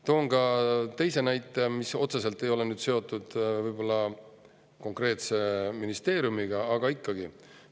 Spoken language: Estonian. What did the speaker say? Toon ka teise näite, mis otseselt ei ole seotud konkreetse ministeeriumiga, aga ikkagi.